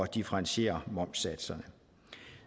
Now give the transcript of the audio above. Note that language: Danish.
differentiere momssatserne